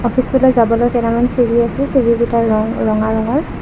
অফিচটোলৈ যাবলৈ কেইডালমান চিৰি আছে চিৰি কিটাৰ ৰং ৰঙা ৰঙৰ।